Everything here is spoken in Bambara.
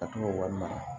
Ka to k'o wari mara